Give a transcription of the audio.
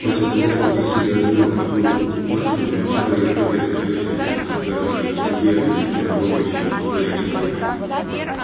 после того схватив себе одну овцу на спину мчал её прыгая с овцой через изгороди к себе в недоступное логовище на сухой речке